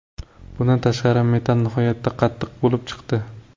Bundan tashqari, metall nihoyatda qattiq bo‘lib chiqdi.